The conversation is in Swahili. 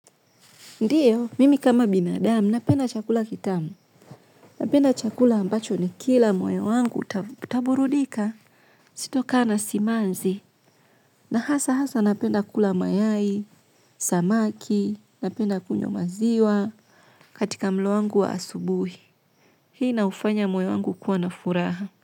Ndiyo, mimi kama binadamu, napenda chakula kitamu. Napenda chakula ambacho ni kila moyo wangu utaburudika sito kaa na simanzi. Na hasa haswa napenda kula mayai, samaki, napenda kunywa maziwa katika mlo wangu wa asubuhi. Hii ina ufanya moyo wangu kuwa na furaha.